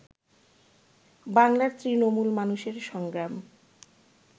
বাংলার তৃণমূল মানুষের সংগ্রাম